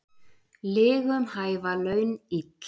Lygum hæfa laun ill.